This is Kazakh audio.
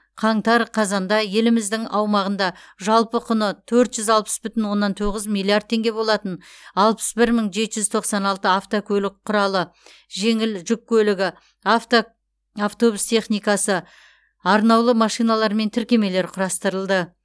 қаңтар қазанда еліміздің аумағында жалпы құны төрт жүз алпыс бүтін оннан тоғыз миллиард теңге болатын алпыс бір мың жеті жүз тоқсан алты автокөлік құралы жеңіл жүк көлігі авта автобус техникасы арнаулы машиналар мен тіркемелер құрастырылды